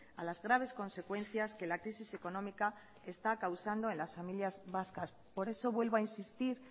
a las graves consecuencias que la crisis económica está causando en las familias vascas por eso vuelvo a insistir